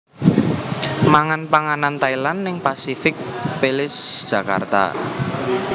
Mangan panganan Thailand ning Pasific Place Jakarta